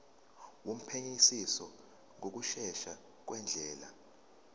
wophenyisiso ngokushesha ngendlela